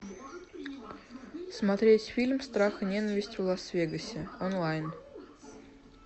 смотреть фильм страх и ненависть в лас вегасе онлайн